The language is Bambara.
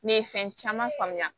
Ne ye fɛn caman faamuya